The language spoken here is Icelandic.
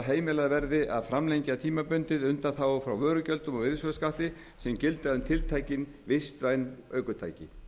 heimilað verði að framlengja tímabundið undanþágur frá vörugjöldum og virðisaukaskatti sem gilda um tiltekin vistvæn ökutæki